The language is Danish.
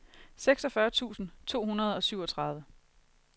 seksogfyrre tusind to hundrede og syvogtredive